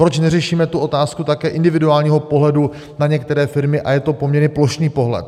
Proč neřešíme tu otázku také individuálního pohledu na některé firmy a je to poměrně plošný pohled.